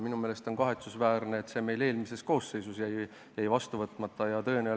Minu arust on kahetsusväärne, et see seadus meil eelmise koosseisu ajal vastu võtmata jäi.